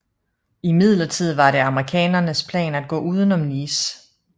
Imidlertid var det amerikanernes plan at gå uden om Nice